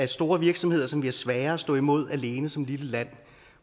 store virksomheder som bliver svære at stå imod alene som et lille land